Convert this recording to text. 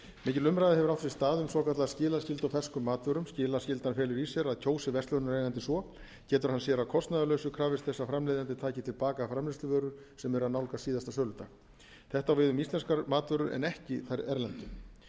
mikil umræða hefur átt sér stað um svokallaða skilaskyldu á ferskum matvörum skilaskyldan felur í sér að kjósi verslunareigandi svo getur hann sér að kostnaðarlausu krafist þess að framleiðandi taki til baka framleiðsluvörur sem eru að nálgast síðasta söludag þetta á við um íslenskar matvörur en ekki þær erlendu